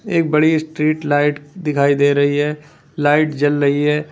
एक बड़ी street light दिखाई दे रही है लाइट जल रही है।